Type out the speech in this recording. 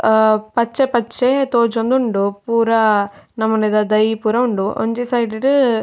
ಆ ಪಚ್ಚೆ ಪಚ್ಚೆ ತೋಜೊಂದುಂಡು ಪೂರ ನಮುನಿದ ದೈ ಪೂರ ಉಂಡು. ಒಂಜಿ ಸೈಡ್ ಡು--